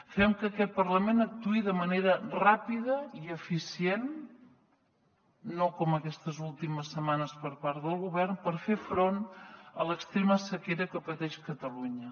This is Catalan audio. fem que aquest parlament actuï de manera ràpida i eficient no com aquestes últimes setmanes per part del govern per fer front a l’extrema sequera que pateix catalunya